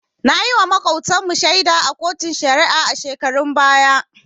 Nayiwa Makotan mu shaida a koton shari'a a shekarun baya